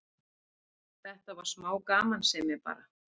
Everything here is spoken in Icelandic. Þetta var smá gamansemi bara.